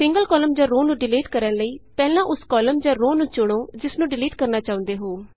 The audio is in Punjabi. ਸਿੰਗਲ ਕਾਲਮ ਜਾਂ ਰੋਅ ਨੂੰ ਡਿਲੀਟ ਕਰਨ ਲਈਪਹਿਲਾਂ ਉਸ ਕਾਲਮ ਜਾਂ ਰੋਅ ਨੂੰ ਚੁਣੋ ਜਿਸਨੂੰ ਡਿਲੀਟ ਕਰਨਾ ਚਾਹੁੰਦੇ ਹੋ